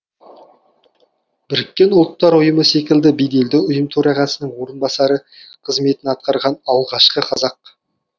бұұ секілді беделді ұйым төрағасының орынбасары қызметін атқарған алғашқы қазақ